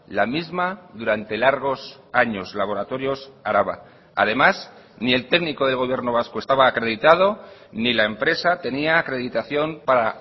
la misma durante largos años laboratorios araba además ni el técnico del gobierno vasco estaba acreditado ni la empresa tenía acreditación para